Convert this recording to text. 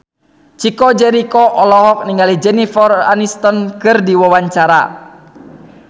Chico Jericho olohok ningali Jennifer Aniston keur diwawancara